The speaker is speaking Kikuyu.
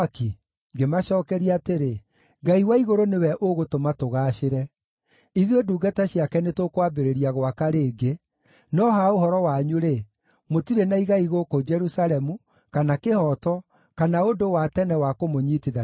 Ngĩmacookeria atĩrĩ, “Ngai wa Igũrũ nĩwe ũgũtũma tũgaacĩre. Ithuĩ ndungata ciake nĩtũkwambĩrĩria gwaka rĩngĩ, no ha ũhoro wanyu-rĩ, mũtirĩ na igai gũkũ Jerusalemu, kana kĩhooto, kana ũndũ wa tene wa kũmũnyiitithania narĩo.”